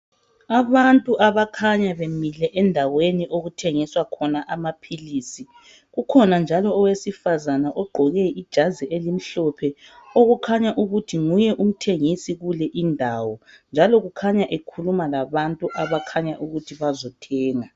Abantu abakhanya bemile endaweni okuthengiswa khona amaphilisi ukhona njalo owesifazane ugqoke ijazi elimhlophe okukhanya ukuthi nguye umthengisi kule indawo njalo ekhuluma labantu abakhanya bezothenga.